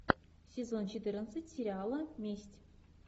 сезон четырнадцать сериала месть